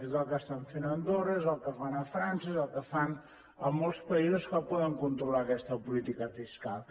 és el que estan fent a andorra és el que fan a frança és el que fan a molts països que poden controlar aquesta política fiscal